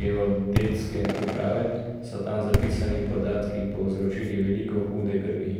geodetske uprave, so tam zapisani podatki povzročili veliko hude krvi.